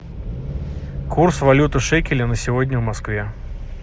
курс валюты шекели на сегодня в москве